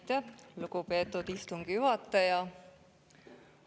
Aitäh, lugupeetud istungi juhataja!